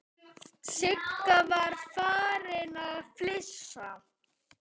Sigga var farin að flissa.